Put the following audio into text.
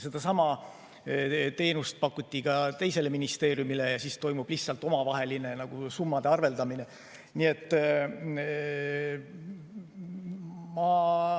Sedasama teenust pakuti ka teisele ministeeriumile ja nüüd toimub lihtsalt omavaheline arveldamine.